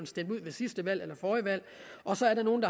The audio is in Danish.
stemt ud ved sidste valg eller forrige valg og så er der nogle